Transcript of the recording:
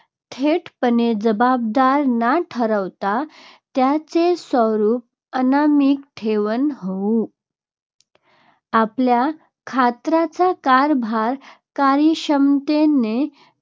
थेटपणे जबाबदार न ठरवता त्याचे स्वरूप अनामिक ठेवणे होय. आपल्या खात्याचा कारभार कार्यक्षमतेने